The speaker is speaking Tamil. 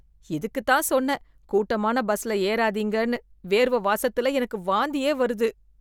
இதுக்குத்தான் சொன்னேன், கூட்டமான பஸ்ல ஏறாதீங்கன்னு, வேர்வ வாசத்துல எனக்கு வாந்தியே வருது.